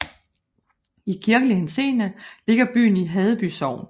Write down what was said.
I kirkelig henseende ligger byen i Haddeby Sogn